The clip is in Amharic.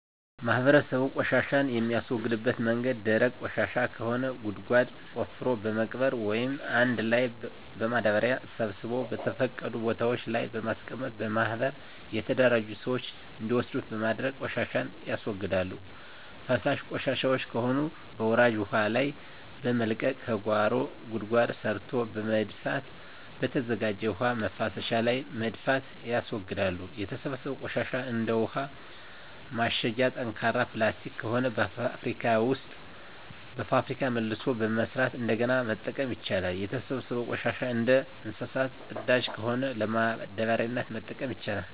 ማህበረሰቡ ቆሻሻን የሚያስወግድበት መንገድ ደረቅ ቆሻሻ ከሆነ ጉድጓድ ቆፍሮ በመቅበር ወይም አንድ ላይ በማዳበሪያ ሰብስቦ በተፈቀዱ ቦታወች ላይ በማስቀመጥ በማህበር የተደራጁ ስዎች እንዲወስዱት በማድረግ ቆሻሻን ያስወግዳሉ። ፈሳሽ ቆሻሻወች ከሆኑ በወራጅ ውሀ ላይ በመልቀቅ ከጓሮ ጉድጓድ ሰርቶ በመድፋትና በተዘጋጀ የውሀ መፍሰሻ ላይ በመድፋት ያስወግዳሉ። የተሰበሰበው ቆሻሻ እንደ ውሀ ማሸጊያ ጠንካራ ፕላስቲክ ከሆነ በፋብሪካ መልሶ በመስራት እንደገና መጠቀም ይቻላል። የተሰበሰበው ቆሻሻ እንደ እንሰሳት ፅዳጅ ከሆነ ለማዳበሪያነት መጠቀም ይቻላል።